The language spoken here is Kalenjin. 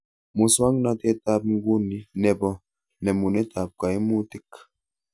Muswonotetab nguni nebo nemunetab kaimutik